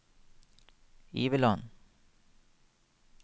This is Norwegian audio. Iveland